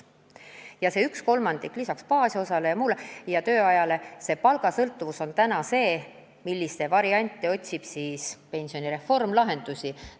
Ja see üks kolmandik lisaks baasosale ja tööajale, see palgast sõltuvus ongi see, millele pensionireform lahendust otsib.